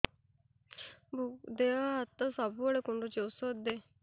ଦିହ ହାତ ସବୁବେଳେ କୁଣ୍ଡୁଚି ଉଷ୍ଧ ଦେ